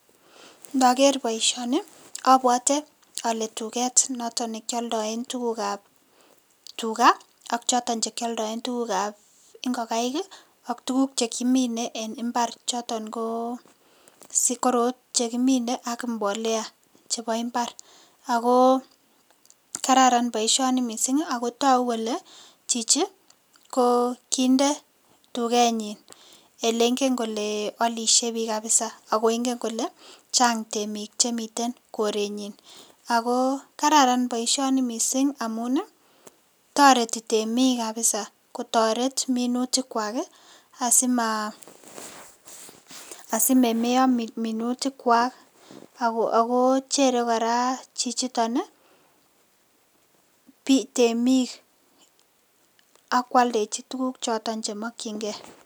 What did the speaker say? Nager baishoni abwate ale tuget noton nekyaldae tuguk ab tuga AK choton chekioldoen igikaik AK tuguk chekine en imbar choton ko sigori chekimine AK mbolea chebo imbar ako kararan baishoni mising akotaku Kole Chichi kokinde tugenyin elengin Kole alishe Bik kabisa akongen Kole Chang temik Chemiten korenyin ako kararan mising baishoni mising amun tareti temik kabisa kotaret minutik Kwak simameyok minutik chwak ako Chere koraa chichiton temik akwaldechi bichoton chemakin gei